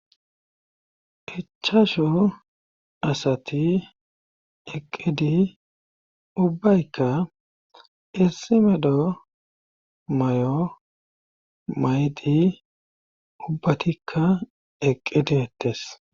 ichashu asati eqqidi ubbaykka issimedo may7o maydi ubbatikka eqqideettes